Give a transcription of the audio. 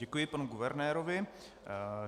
Děkuji panu guvernérovi.